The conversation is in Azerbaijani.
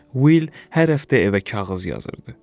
Will hər həftə evə kağız yazırdı.